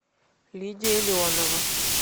лидия леонова